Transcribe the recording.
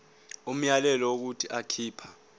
umyalelo wokuthi akhipha